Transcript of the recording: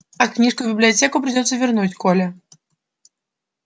а книжку в библиотеку придётся вернуть коля